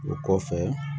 O kɔfɛ